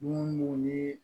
Mun ni